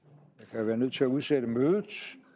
kan være nødt til at udsætte mødet